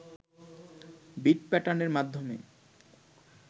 bit প্যাটার্নের মাধ্যমে